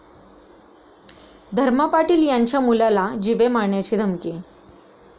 धर्मा पाटील यांच्या मुलाला जीवे मारण्याची धमकी